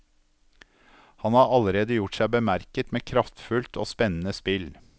Han har allerede gjort seg bemerket med kraftfullt og spennende spill.